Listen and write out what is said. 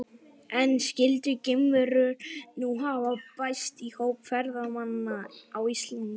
En skyldu geimverur nú hafa bæst í hóp ferðamanna á Íslandi?